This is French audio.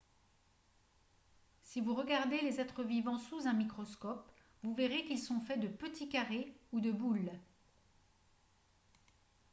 si vous regardez les êtres vivants sous un microscope vous verrez qu'ils sont faits de petits carrés ou de boules